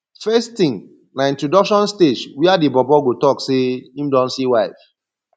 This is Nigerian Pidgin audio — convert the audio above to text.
first tin na introduction stage wia di bobo go tok say em don see wife